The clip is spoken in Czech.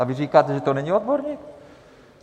A vy říkáte, že to není odborník?